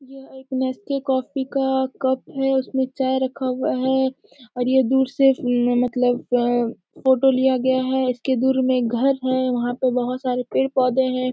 यह एक Nescafe coffee का कप है । उसमें चाय रखा हुआ है और ये दूर से म मतलब अ फोटो लिया गया है । इसके दूर में एक घर है वहाँ पे बहोत सारे पेड़ पौधे हैं ।